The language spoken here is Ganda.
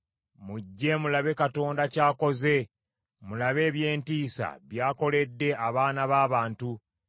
Mujje mulabe Katonda ky’akoze; mulabe eby’entiisa by’akoledde abaana b’abantu!